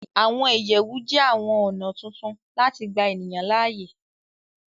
Àwọn ìyẹ̀wù jẹ́ àwọn ọ̀nà tuntun láti gbà ènìyàn láàyè